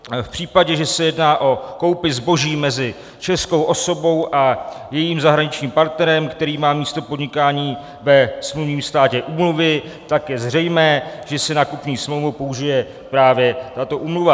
V případě, že se jedná o koupi zboží mezi českou osobou a jejím zahraničním partnerem, který má místo podnikání ve smluvním státě úmluvy, tak je zřejmé, že se na kupní smlouvu použije právě tato úmluva.